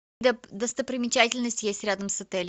достопримечательность есть рядом с отелем